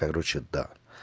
короче да